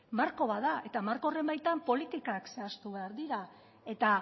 marko bat da eta marko horren baitan politikak zehaztu behar dira eta